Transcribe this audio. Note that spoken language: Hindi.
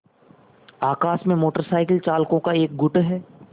आकाश में मोटर साइकिल चालकों का एक गुट है